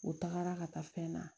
U tagara ka taa fɛn na